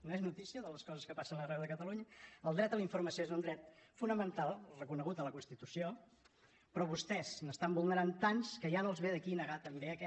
no és notícia de les coses que passen arreu de catalunya el dret a la informació és un dret fonamental reconegut a la constitució però vostès n’estan vulnerant tants que ja no els ve d’aquí negar també aquest